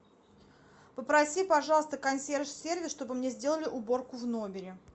попроси пожалуйста консьерж сервис чтобы мне сделали уборку в номере